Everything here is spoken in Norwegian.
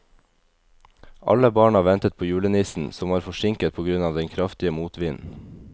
Alle barna ventet på julenissen, som var forsinket på grunn av den kraftige motvinden.